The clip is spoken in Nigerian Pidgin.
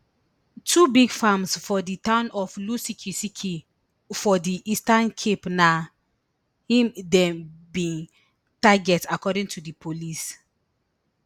two big farms for di town of lusikisiki for di eastern cape na im dem bin target according to di police